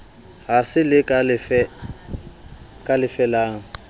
ha se le ka felang